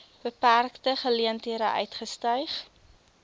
beperkte geleenthede uitgestyg